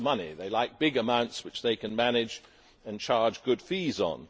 they like big amounts which they can manage and charge good fees on.